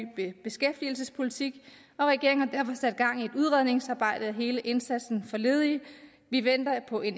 beskæftigelsespolitik og regeringen har derfor sat gang i et udredningsarbejde af hele indsatsen for ledige vi venter på en